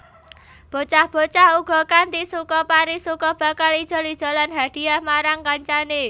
Bocah bocah uga kanthi suka parisuka bakal ijol ijolan hadhiyah marang kancane